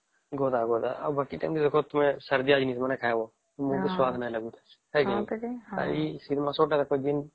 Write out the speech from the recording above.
ଗଦା ଗଦା ଆଉ ବାକି ମାନକେ ଦେଖା ସର୍ଦି ନାଇଁ ଆସିବେ ଖାଇବା ମୁହଁ କେ ସ୍ୱାଦ ନାଇଁ ଲାଗିଅ ଶୀତ ମାସ ଗୋଟେ ଦିନ